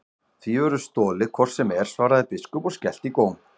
Því verður stolið hvort sem er, svaraði biskup og skellti í góm.